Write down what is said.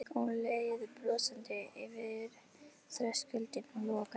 Hún leið brosandi yfir þröskuldinn og lokaði.